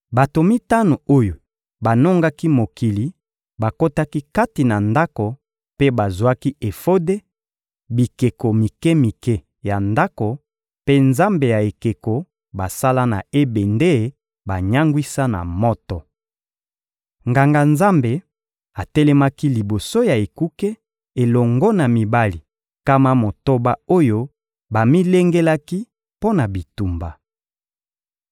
Bato mitano oyo banongaki mokili bakotaki kati na ndako mpe bazwaki efode, bikeko mike-mike ya ndako mpe nzambe ya ekeko basala na ebende banyangwisa na moto. Nganga-nzambe atelemaki liboso ya ekuke elongo na mibali nkama motoba oyo bamilengelaki mpo na bitumba.